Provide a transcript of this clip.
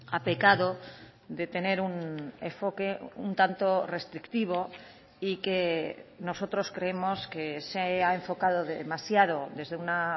ha pecado de tener un enfoque un tanto restrictivo y que nosotros creemos que se ha enfocado demasiado desde una